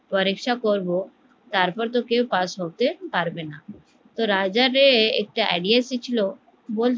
পরীক্ষা করবো তার পর ত কেউ পাস করতে পারবেনা তো রাজাযে একটা idea এসেছিলো যে